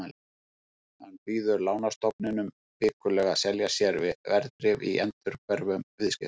Hann býður lánastofnunum vikulega að selja sér verðbréf í endurhverfum viðskiptum.